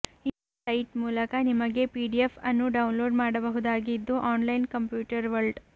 ಈ ಸೈಟ್ ಮೂಲಕ ನಿಮಗೆ ಪಿಡಿಎಫ್ ಅನ್ನು ಡೌನ್ಲೋಡ್ ಮಾಡಬಹುದಾಗಿದ್ದು ಆನ್ಲೈನ್ ಕಂಪ್ಯೂಟರ್ ವರ್ಲ್ಡ್